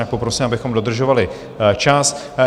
Jinak poprosím, abychom dodržovali čas.